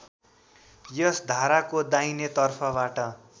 यस धाराको दाहिनेतर्फबाट